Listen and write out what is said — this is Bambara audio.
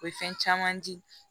O ye fɛn caman di